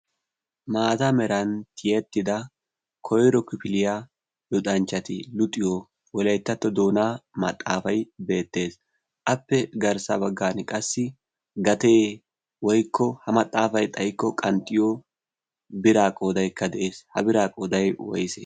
Maata meran tiyettida koyro kifiliyaa luxanchchati luuxiyo wolayttatto doonaa maxaafay beettees. Appe garssa baggan qassi gatee woykko ha maxaafay xayikko qanxxiyo biraa qoodaykka de'ees. Ha biraa qooday woyse?